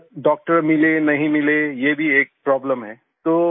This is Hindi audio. और डॉक्टर मिले नहीं मिले ये भी एक प्रोब्लेम है